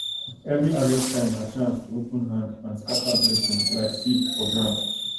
every harvest time na chance to open hand and scatter blessing like seed for ground